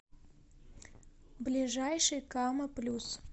ближайший кама плюс